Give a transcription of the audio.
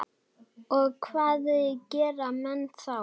Og hvað gera menn þá?